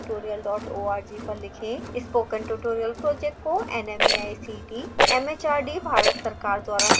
spoken tutorial project को nmeict mhrd Bharat सरकार द्वारा समर्थित है